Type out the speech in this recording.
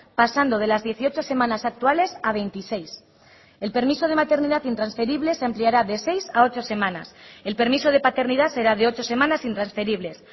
pasando de las dieciocho semanas actuales a veintiséis el permiso de maternidad intransferible se ampliará de seis a ocho semanas el permiso de paternidad será de ocho semanas intransferibles